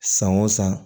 San o san